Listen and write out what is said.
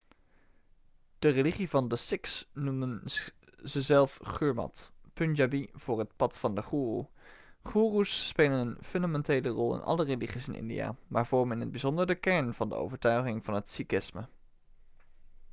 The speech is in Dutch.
de religie van de sikhs noemen ze zelf gurmat' punjabi voor het pad van de goeroe' goeroes spelen een fundamentele rol in alle religies in india maar vormen in het bijzonder de kern van de overtuigingen van het sikhisme